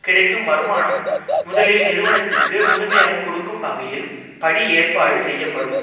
கிடைக்கும் வருமானம் முதலில் நிறுவனத்திற்கு முழுமையாக கொடுக்கும் வகையில் படி ஏற்பாடு செய்யப்படும்